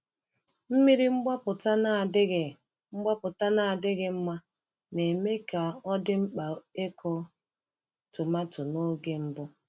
Mmiri mgbapụta na-adịghị mgbapụta na-adịghị mma na-eme ka ọ dị mkpa ịkụ tomato n’oge mbụ.